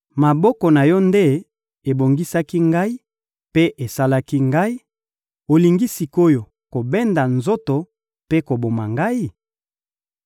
Maboko na Yo nde ebongisaki ngai mpe esalaki ngai; olingi sik’oyo kobenda nzoto mpe koboma ngai?